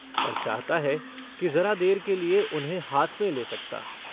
और चाहता है कि जरा देर के लिए उन्हें हाथ में ले सकता।